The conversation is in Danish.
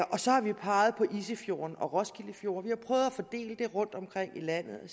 så har vi peget på isefjorden og roskilde fjord vi har prøvet at fordele det rundtomkring i landet og